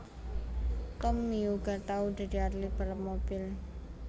Tommy uga tau dadi atlit balap mobil